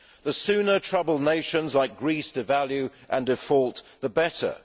The sooner troubled nations like Greece devalue and default, the better.